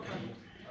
Hamınız xoş gəlmisiz.